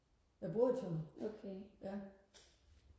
jeg bor i Tønder ja